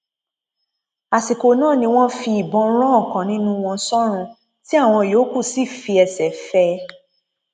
àsìkò náà ni wọn fi ìbọn ran ọkan nínú wọn sọrùn tí àwọn yòókù sì fi ẹsẹ fẹ ẹ